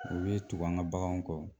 U bɛ tugu an ka baganw kɔ